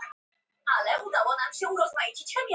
hann kemur fram í öllum málsháttasöfnum sem ég á og þekki